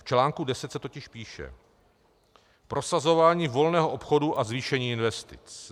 V článku 10 se totiž píše: Prosazování volného obchodu a zvýšení investic.